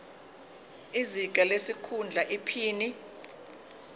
izinga lesikhundla iphini